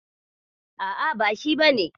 A'a, ba shi bane.